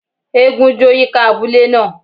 Égún jó yika abule naa.